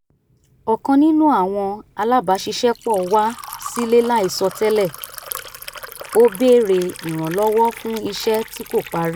ọ̀kan nínú àwọn alábàṣiṣẹ́pọ̀ wá sílé láìsọ tẹ́lè ó béèrè ìrànlọ́wọ́ fún iṣẹ́ tí kò parí